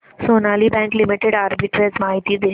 Sonali bank limited arbitrage माहिती दे